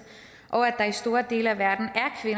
og at der i store dele af verden